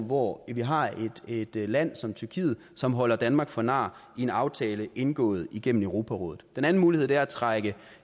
hvor vi har et land som tyrkiet som holder danmark for nar i en aftale indgået igennem europarådet den anden mulighed er at trække